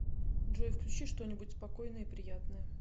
джой включи что нибудь спокойное и приятное